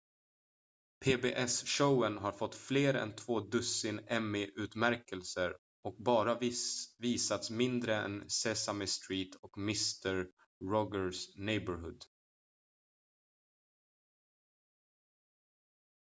pbs-showen har fått fler än två dussin emmy-utmärkelser och bara visats mindre än sesame street och mister rogers neighborhood